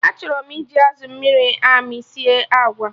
Achọrọ m iji azụ amịrị amị sie agwa